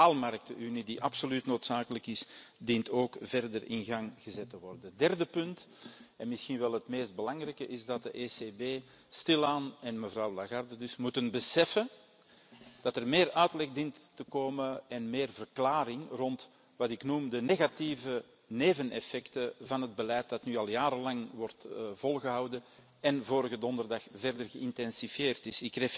De kapitaalmarktenunie die absoluut noodzakelijk is, dient ook verder in gang gezet te worden. Derde punt en misschien wel het meest belangrijke is dat de ECB en mevrouw Lagarde dus stilaan moeten beseffen dat er meer uitleg dient te komen en meer verklaring over wat ik noem de negatieve neveneffecten van het beleid dat nu al jarenlang wordt volgehouden en vorige donderdag verder geïntensiveerd is.